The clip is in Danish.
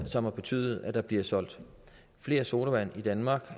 som har betydet at der bliver solgt flere sodavand i danmark